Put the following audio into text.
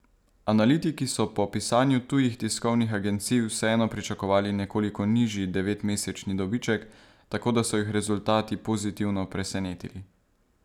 Analitiki so po pisanju tujih tiskovnih agencij vseeno pričakovali nekoliko nižji devetmesečni dobiček, tako da so jih rezultati pozitivno presenetili.